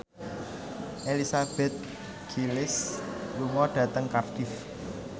Elizabeth Gillies lunga dhateng Cardiff